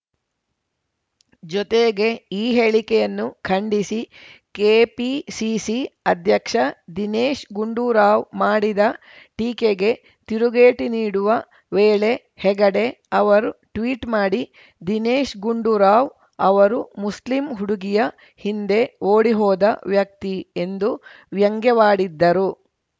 ಜೊತೆಗೆ ಈ ಹೇಳಿಕೆಯನ್ನು ಖಂಡಿಸಿ ಕೆಪಿಸಿಸಿ ಅಧ್ಯಕ್ಷ ದಿನೇಶ್‌ ಗುಂಡೂರಾವ್‌ ಮಾಡಿದ ಟೀಕೆಗೆ ತಿರುಗೇಟು ನೀಡುವ ವೇಳೆ ಹೆಗಡೆ ಅವರು ಟ್ವೀಟ್‌ ಮಾಡಿ ದಿನೇಶ್‌ ಗುಂಡೂರಾವ್‌ ಅವರು ಮುಸ್ಲಿಂ ಹುಡುಗಿಯ ಹಿಂದೆ ಓಡಿ ಹೋದ ವ್ಯಕ್ತಿ ಎಂದು ವ್ಯಂಗ್ಯವಾಡಿದ್ದರು